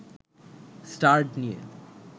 start নিয়ে